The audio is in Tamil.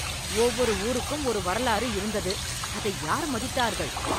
ஒவ்வொரு ஊருக்கும் ஒரு வரலாறு இருந்தது. அதை யார் மதித்தார்கள்.